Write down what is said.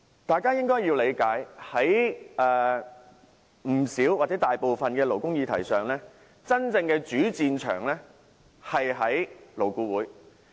大家應該理解，大部分勞工議題的真正主戰場其實在勞顧會。